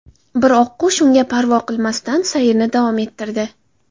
Biroq oqqush unga parvo qilmasdan, sayrni davom ettirdi.